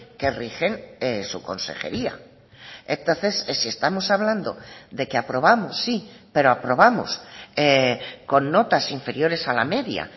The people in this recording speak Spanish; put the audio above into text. que rigen su consejería entonces si estamos hablando de que aprobamos sí pero aprobamos con notas inferiores a la media